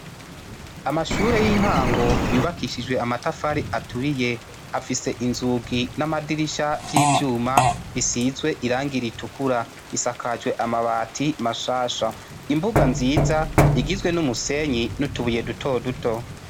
Amashure y'intango yubakishijwe amatafari aturiye afise inzugi n'amadirisha vy'ivyuma bisizwe irangi ritukura risakajwe amabati mashasha, imbuga nziza igizwe n'umusenyi n'utubuye duto duto.